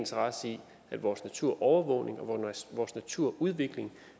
interesse i at vores naturovervågning og vores naturudvikling